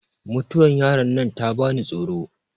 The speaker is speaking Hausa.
mutuwar yaron nan ta bani tsoro